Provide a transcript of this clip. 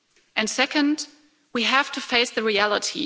And second, we have to face the reality.